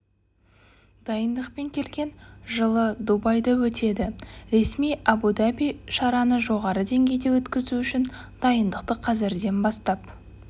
дайындықпен келген жылы дубайда өтеді ресми әбу-даби шараны жоғары деңгейде өткізу үшін дайындықты қазірден бастап